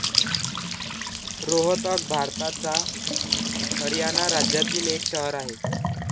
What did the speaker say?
रोहतक भारताच्या हरियाणा राज्यातील एक शहर आहे.